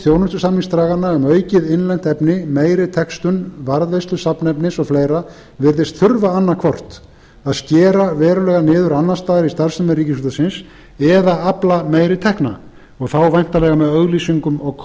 þjónustusamningsdraganna um aukið innlend efni meiri textun varðveislu safnefnis og fleira virðist þurfa annaðhvort að skera verulega niður annars staðar í starfsemi ríkisútvarpsins eða afla meiri tekna og þá væntanlega með auglýsingum og